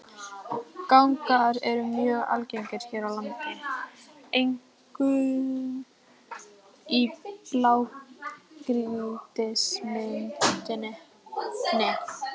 Gangar eru mjög algengir hér á landi, einkum í blágrýtismynduninni.